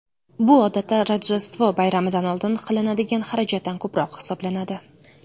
Bu odatda Rojdestvo bayramidan oldin qilinadigan xarajatdan ko‘proq hisoblanadi.